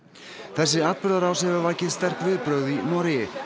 þessi atburðarás hefur vakið sterk viðbrögð í Noregi